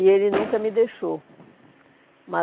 E ele nunca me deixou.